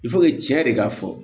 tiɲɛ yɛrɛ ka fɔ